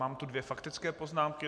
Mám tu dvě faktické poznámky.